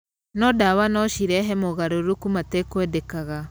No ndawa no cirehe mogarũrũku matekwendekaga.